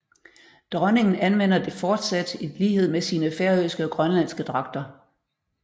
Dronningen anvender det fortsat i lighed med sine færøske og grønlandske dragter